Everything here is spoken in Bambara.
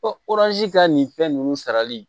ka nin fɛn ninnu sarali